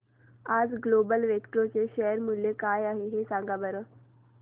आज Global Vectra चे share मूल्य काय आहे सांगा बरं